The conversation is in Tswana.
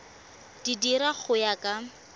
di dira go ya ka